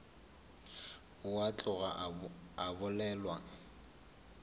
ao a tloga a bolelwa